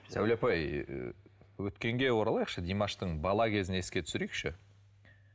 сәуле апай өткенге оралайықшы димаштың бала кезін еске түсірейікші